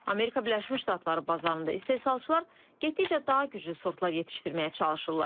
Amerika Birləşmiş Ştatları bazarında istehsalçılar getdikcə daha güclü sortlar yetişdirməyə çalışırlar.